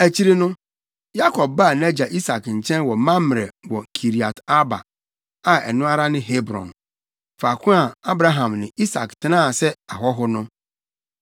Akyiri yi no, Yakob baa nʼagya Isak nkyɛn wɔ Mamrɛ wɔ Kiriat-Arba, a ɛno ara ne Hebron, faako a Abraham ne Isak tenaa sɛ ahɔho no.